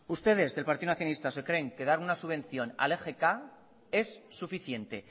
ustedes del partido nacionalistas se creen que dar una subvención al egk es suficiente